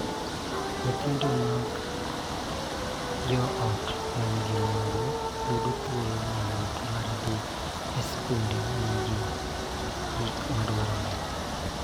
Nyithindo mag joot ma nigi mwandu yudo thuolo mayot mar dhi e skul ma nigi gik ma dwarore,